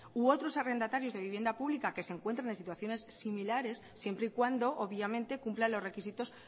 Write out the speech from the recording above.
u otros arrendatarios de vivienda pública que se encuentren en situaciones similares siempre y cuando obviamente cumplan los requisitos